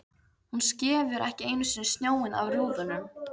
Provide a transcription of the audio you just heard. Hún skefur ekki einu sinni snjóinn af rúðunum!